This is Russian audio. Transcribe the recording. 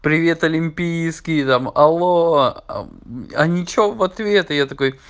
привет олимпийский там алло а ничего в ответ я такой